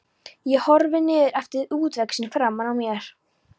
Ég horfi niður eftir útvextinum framan á mér.